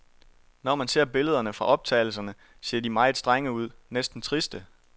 Når man ser billederne fra optagelserne, ser de meget strenge ud, næsten triste.